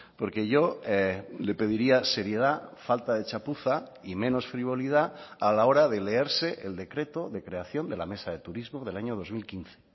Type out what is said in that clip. porque yo le pediría seriedad falta de chapuza y menos frivolidad a la hora de leerse el decreto de creación de la mesa de turismo del año dos mil quince